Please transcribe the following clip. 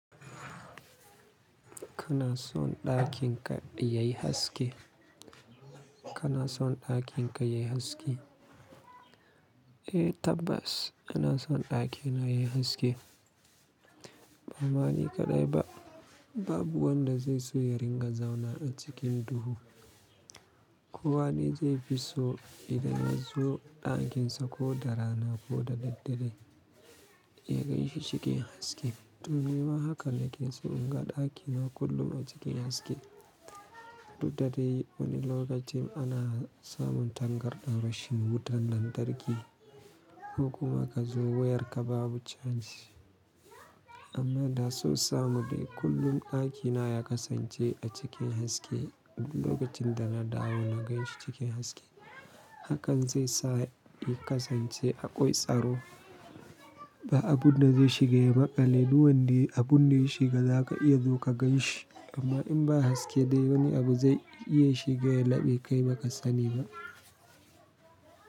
Kana son ɗakin ka yayi haske? Kana son ɗakin ka yayi haske? Eh tabbas, ina son ɗakina yayi haske. Bani kaɗai ba, babu wanda zai so ya ringa zauna a cikin duhu. Ko wane zai fi so idan ya zo ɗakinsa ko da rana ko da daddare, ya ganshi cikin haske. Domin ma haka nake so in ga ɗakina kullum a cikin haske. Duk dade wani lokacin ana samun tangarɗan rashin wutan lantarki, ko kuma ka zo wuyar ka babu chanci. Amma da so samu dai kullum ɗakina ya kasance a cikin haske. Duk lokacin da na dawo na ganshi cikin haske. Hakan zai sa ya kasance aƙoi tsaro. Ba abu na zai shiga ya maƙale duwanni, abun da ya shiga za ka iya zo ka gan shi. Amma in ba haske dai wani abu zai iya shiga ya laɓe kai ba ka sani ba.